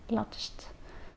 látist